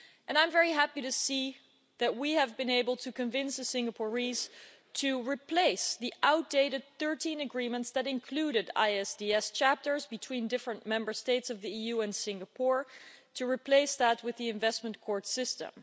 I'm very happy to see that we have been able to convince the Singaporeans to replace the outdated 13 agreements that included Investor State Dispute Settlement chapters between different Member States of the EU and Singapore and replace them with the Investment Court System.